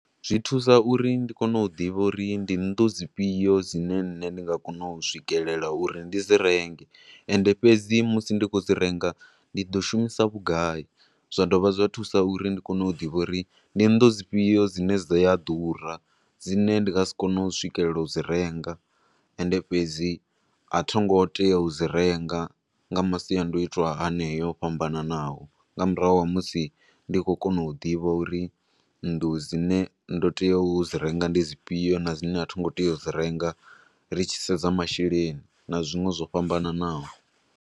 Zwi thusa uri ndi kone u ḓivha uri ndi nnḓu dzi fhio dzine nne ndi nga kona u swikelela uri ndi dzi renge, ende fhedzi musi ndi khou dzi renga ndi ḓo shumisa vhugai. Zwa dovha zwa thusa uri ndi kone u ḓivha uri ndi nnḓu dzi fhio dzine dzi a ḓura, dzi ne ndi nga si kone u swikelela u dzi renga, ende fhedzi a thingo teya u dzi renga nga masiandoitwa haneyo o fhambananaho, nga murahu ha musi ndi khou kona u divha uri nnḓu dzine ndo teya u dzi renga ndi dzi fhio na dzine a thingo te ya u dzi renga ri tshi sedza masheleni na zwinwe zwo fhambananaho.